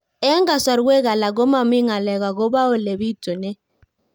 Eng' kasarwek alak ko mami ng'alek akopo ole pitunee